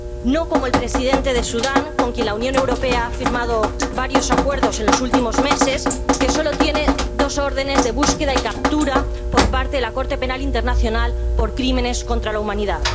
No como el presidente de Sudán, con quien la Unión Europea ha firmado varios acuerdos en los últimos meses, que solo tiene dos órdenes de búsqueda y captura por parte de la Corte Penal Internacional por crímenes contra la humanidad.